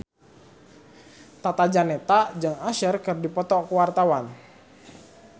Tata Janeta jeung Usher keur dipoto ku wartawan